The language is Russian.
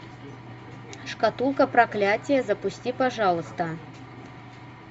шкатулка проклятия запусти пожалуйста